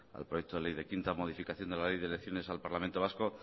al proyecto de ley de quinta modificación de la ley de elecciones al parlamento vasco